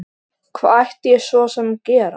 Hvað ætti ég svo sem að gera?